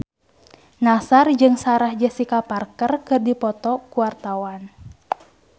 Nassar jeung Sarah Jessica Parker keur dipoto ku wartawan